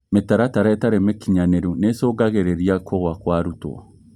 Mĩtaratara ĩtarĩ mĩkinyanĩru nĩicungagĩrĩria kũgũa kwa arutwo